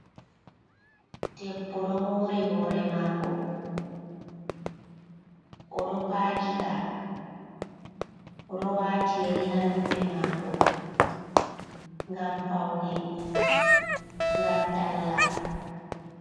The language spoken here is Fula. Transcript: Debbo ɗo mori hore mako, oɗo pakika, oɗo wati yari ha noppi mako, gam paune gam talla.